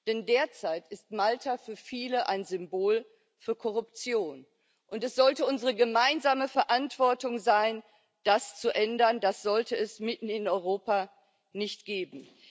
Denn derzeit ist Malta für viele ein Symbol für Korruption, und es sollte unsere gemeinsame Verantwortung sein, das zu ändern, das sollte es mitten in Europa nicht geben.